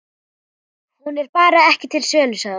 Hún er bara ekki til sölu, sagði hún.